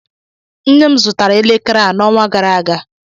Nne m zụtara elekere a n'ọnwa gara aga